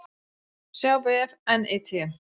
sjá vef NYT